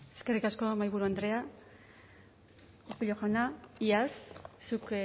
eskerrik asko mahaiburu andrea urkullu jauna iaz zuk